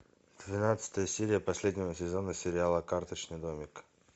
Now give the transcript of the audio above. тринадцатая серия последнего сезона сериала карточный домик